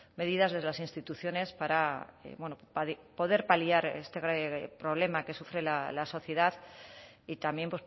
medidas desde las instituciones para bueno poder paliar este problema que sufre la sociedad y también